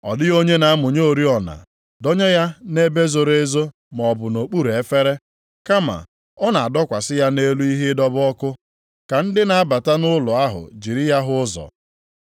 “Ọ dịghị onye na-amụnye oriọna dọnye ya nʼebe zoro ezo maọbụ nʼokpuru efere, kama, ọ na-adọkwasị ya nʼelu ihe ịdọba ọkụ ka ndị na-abata nʼụlọ ahụ jiri ya hụ ụzọ.